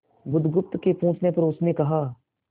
बुधगुप्त के पूछने पर उसने कहा